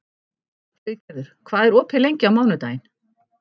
Friðgerður, hvað er opið lengi á mánudaginn?